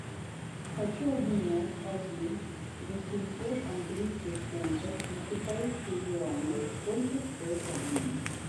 хочу обменять один восемьсот английских фунтов на китайские юани сколько стоит обмен